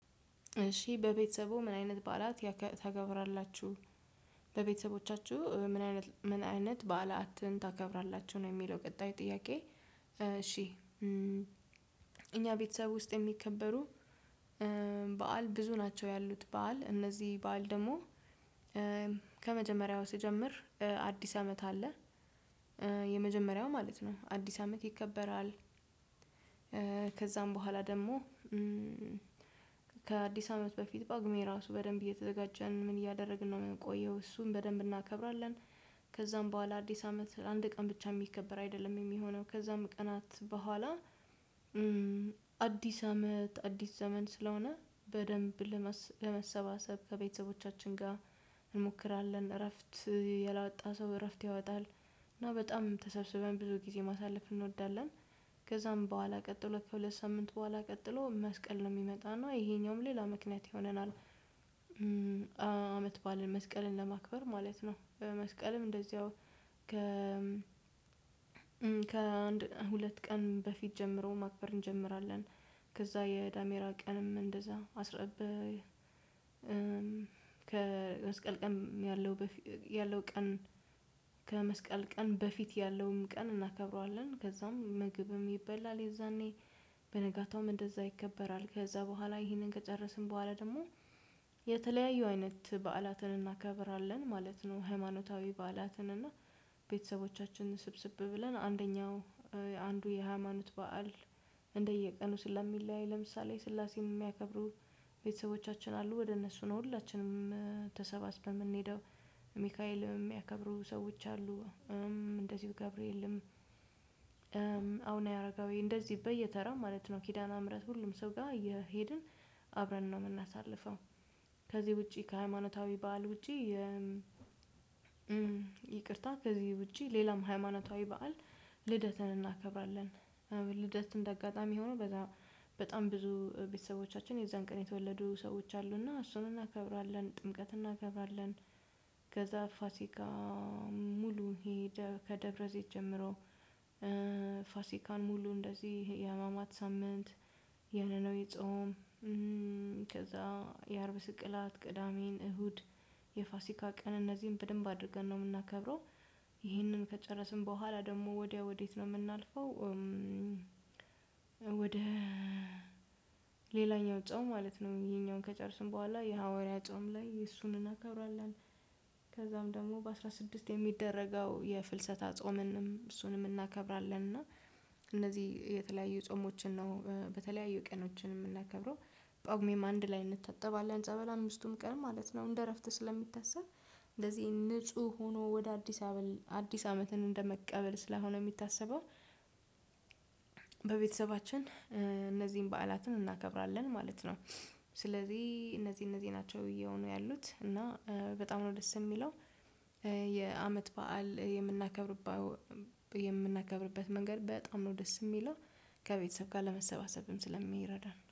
እሺ በቤተሰቦ ምን አይነት በዓላት ታከብራላችሁ በቤተሰቦቻችሁ ምን አይነት ምን አይነት በዓላትን ታከብራላችሁ ነው የሚለው ቀጣይ ጥያቄ? እሺ እኛ ቤተሰብ ውስጥ የሚከበሩ በዓል ብዙ ናቸው ያሉት በዓል እነዚህ በዓል ደግሞ ከመጀመሪያው ስጀምር አዲስ አመት አለ የመጀመሪያው ማለት ነው አዲስ አመት ይከበራል። ከዛም በኋላ ደግሞ ከአዲስ አመት በፊት ጳጉሜ ራሱ በደንብ እየተዘጋጀን ምን እያደረግን ነው የምንቆየው እሱን በደንብ እናከብራለን። ከዛም በኋላ አዲስ አመት አንድ ቀን ብቻ የሚከበር አይደለም የሚሆነው ከዛም ቀናት በኋላ አዲስ አመት አዲስ ዘመን ስለሆነ በደንብ ለመሰባሰብ ከቤተሰቦቻችን ጋር እንሞክራለን እረፍት ያልወጣ ሰው እረፍት ያወጣል እና በጣም ተሰብስበን ብዙ ጊዜ ማሳለፍ እንወዳለን። ከዛም በኋላ ቀጥሎ ከሁለት ሳምንት በኋላ ቀጥሎ መስቀል ነው የሚመጣና ይሄኛውም ሌላ ምክንያት ይሆነናል። አመት ባለን መስቀልን ለማክበር ማለት ነው መስቀልም እንደዚያው ከ ከአንድ ሁለት ቀን በፊት ጀምሮ ማክበር እንጀምራለን። ከዛ የዳሜራ ቀንም እንደዛ አስረብ ከመስቀልቀም ያለው ያለው ቀን ከመስቀል ቀን በፊት ያለውም ቀን እናከብረዋለን ከዛም ምግብም ይበላል የዛኔ በነጋታውም እንደዛ ይከበራል ከዛ በኋላ ይህንን ከጨረስን በኋላ ደግሞ የተለያዩ አይነት በዓላትን እናከብራለን ማለት ነው። ሃይማኖታዊ በዓላትን እና ቤተሰቦቻችንን ስብስብ ብለን አንደኛው አንዱ የሃይማኖት በዓል እንደየቀኑ ስለሚለያይ ለምሳሌ ሥላሴን የሚያከብሩ ቤተሰቦቻችን አሉ ወደ እነሱ ነው ሁላችንም ተሰባስበን የምንሄደው ሚካኤልም የሚያከብሩ ሰዎች አሉ እንደዚሁ ገብርኤልም አቡነ አረጋዊ እንደዚህ በየተረው ማለት ነው ኪዳና ምህረት ሁሉም ሰው ጋር እየሄድን አብረን ነው የምናሳልፈው። ከዚህ ውጪ ከሃይማኖታዊ በዓል ውጪ ይቅርታ ከዚህ ውጪ ሌላም ሃይማኖታዊ በዓል ልደትን እናከብራለን። ልደት እንደ አጋጣሚ ሆኖ በጣም በጣም ብዙ ቤተሰቦቻችን የዛን ቀን የተወለዱ ሰዎች አሉና እሱን እናከብራለን ጥምቀት እናከብራለን። ከዛ ፋሲካ ሙሉ ከደብረዘይት ጀምሮ ፋሲካን ሙሉ እንደዚህ የህማማት ሳምንት የነነዌ ጾም ከዛ የአርብ ስቅላት ቅዳሜን እሁድ የፋሲካ ቀን እነዚህን በደንብ አድርገን ነው የምናከብረው። ይህንን ከጨረስን በኋላ ደግሞ ወዲያ ወዴት ነው የምናልፈው? ወደ ሌላኛው ጾም ማለት ነው ይሄኛውን ከጨረስን በኋላ የሐዋርያ ጾም ላይ እሱን እናከብራለን። ከዛም ደግሞ በአስራ ስድስት የሚደረገው የፍልሰታ ጾምንም እሱንም እናከብራለን እና እነዚህ የተለያዩ ጾሞችን ነው በተለያዩ ቀኖች የምናከብረው። ጳጉሜም አንድ ላይ እንታጠባለን ጸበል አምስቱም ቀን ማለት ነው እንደ እረፍት ስለሚታሰብ እንደዚህ ንጹህ ሆኖ ወደ አዲስ አመት አዲስ አመትን እንደመቀበል ስለሆነ የሚታሰበው በቤተሰባችን እነዚህን በዓላትን እናከብራለን ማለት ነው። ስለዚህ እነዚህ እነዚህ ናቸው ብዬው ነው ያሉት እና በጣም ነው ደስ የሚለው የአመት በዓል የምናከብርበት መንገድ በጣም ነው ደስ የሚለው። ከቤተሰብ ጋር ለመሰባሰብም ስለሚረዳን